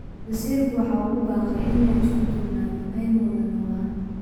Wasiirku waxa uu ugu baaqay in aynu isku duubnano oo aynu wada noolaano.